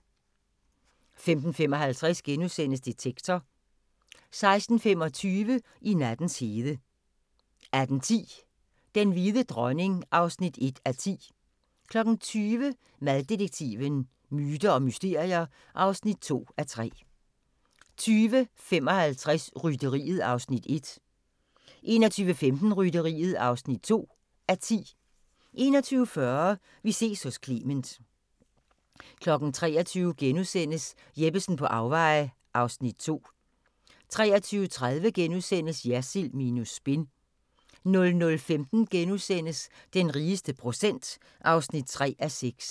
15:55: Detektor * 16:25: I nattens hede 18:10: Den hvide dronning (1:10) 20:00: Maddetektiven: Myter og mysterier (2:3) 20:55: Rytteriet (1:10) 21:15: Rytteriet (2:10) 21:40: Vi ses hos Clement 23:00: Jeppesen på afveje (Afs. 2)* 23:30: Jersild minus spin * 00:15: Den rigeste procent (3:6)*